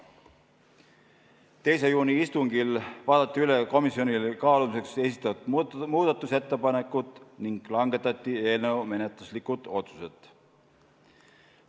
2. juuni istungil vaadati üle komisjonile kaalumiseks esitatud muudatusettepanekud ning langetati menetluslikud otsused.